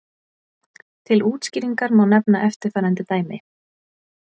Til útskýringar má nefna eftirfarandi dæmi.